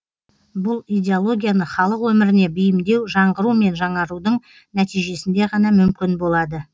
бұл идеологияны халық өміріне бейімдеу жаңғыру мен жаңарудың нәтижесінде ғана мүмкін болады